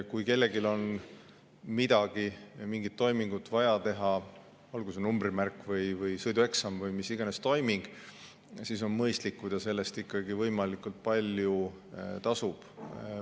Kui kellelgi on vaja teha mingit toimingut, olgu see numbrimärk, sõidueksam või mis tahes toiming, siis on mõistlik, kui ta selle eest ikkagi võimalikult palju ise tasub.